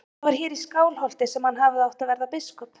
Og það var hér í Skálholti sem hann hafði átt að verða biskup.